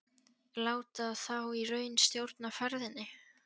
Láta þá í raun stjórna ferðinni?